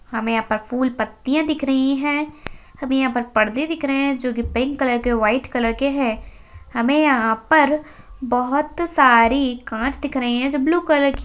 हमे यहा पर फूल पत्तिया दिक रह है। हमे यहा पर पर्दे दिख रहे है। जो की पिंक कलर के व्हाइट कलर के है। हमे यहा पर बहुत सारी काँच दिख रही है। जो ब्लू कलर की--